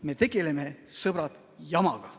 Me tegeleme, sõbrad, jamaga.